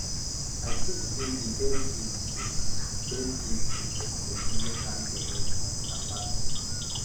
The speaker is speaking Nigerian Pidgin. i think sey di best gift to best gift to give pesin wey carry belle na service